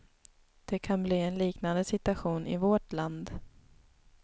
Det kan bli en liknande situation i vårt land.